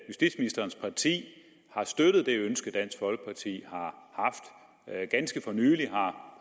justitsministerens parti har støttet det ønske dansk folkeparti har ganske for nylig har